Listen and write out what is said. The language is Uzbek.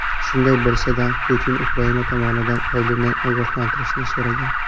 Shunday bo‘lsa-da, Putin Ukraina tomonini oldindan ogohlantirishni so‘ragan.